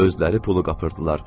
Özləri pulu qapırdılar.